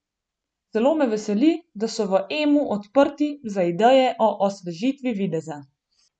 Zelo me veseli, da so v Emu odprti za ideje o osvežitvi videza.